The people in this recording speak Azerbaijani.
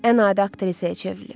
Ən adi aktrisaya çevrilib.